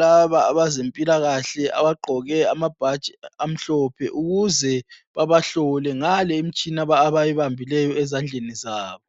labo abezempilakahle abagqoke amabhatshi amhlophe ukuze babahlole ngale imitshina abayibambileyo ezandleni zabo.